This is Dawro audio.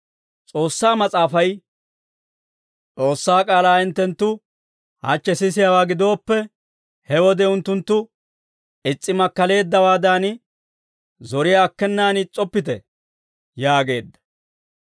S'oossaa Mas'aafay, «S'oossaa k'aalaa hinttenttu, hachche sisiyaawaa gidooppe, he wode unttunttu is's'i makkaleeddawaadan, zoriyaa akkenaan is's'oppite» yaageedda.